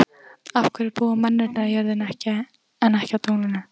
Af hverju búa mennirnir á jörðinni en ekki á tunglinu?